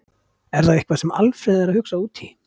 Er það eitthvað sem Alfreð er að hugsa út í?